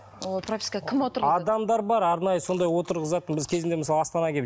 ол пропискаға кім отырғызады адамдар бар арнайы сондай отырғызатын біз кезінде мысалы астанаға келіп